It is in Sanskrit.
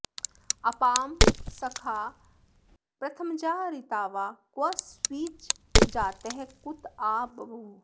अ॒पां सखा॑ प्रथम॒जा ऋ॒तावा॒ क्व॑ स्विज्जा॒तः कुत॒ आ ब॑भूव